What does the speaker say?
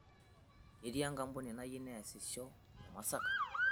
Ketii enkampuni nayieu neesisho te Masaka